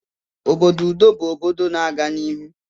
Obodo udo bụ obodo na-aga n'ihu